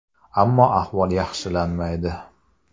Ammo ahvol yaxshilanmaydi.